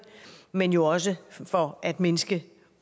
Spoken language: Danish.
men jo også for at mindske